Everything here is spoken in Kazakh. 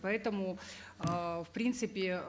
поэтому э в принципе